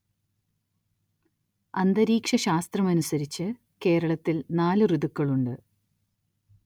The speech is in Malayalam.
അന്തരീക്ഷ ശാസ്ത്രമനുസരിച്ച് കേരളത്തിൽ നാല് ഋതുക്കളുണ്ട്.